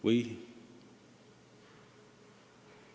Või ...